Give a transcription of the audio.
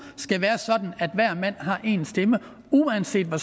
skal være sådan at hver mand har én stemme uanset hvor